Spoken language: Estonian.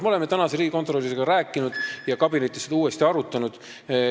Me oleme praeguse riigikontrolöriga rääkinud ja kabinetis seda uuesti arutanud.